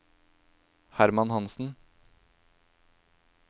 Hermann Hansen